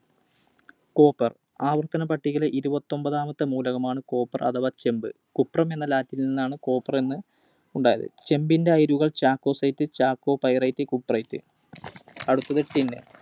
Copper ആവർത്തനപ്പട്ടികയിലെ ഇരുപത്തൊമ്പതാമത്തെ മൂലകമാണ് Copper അഥവാ ചെമ്പ്. Cuprum എന്ന Latin ൽ ന്നാണ് Copper എന്ന് ഉണ്ടായത്. ചെമ്പിൻറെ അയിരുകൾ Chalcocite, Chalcopyrite, Cuprite. അടുത്തത് Tin.